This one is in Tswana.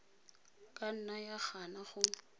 ka nna ya gana go